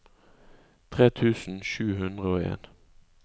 tre tusen sju hundre og en